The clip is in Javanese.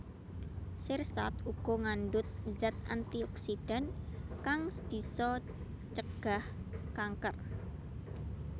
Sirsat uga ngandhut zat antioksidan kang bisa ncegah kanker